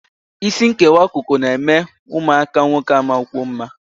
Isi nkewa akụkụ na-eme ụmụaka nwoke amakwuo mma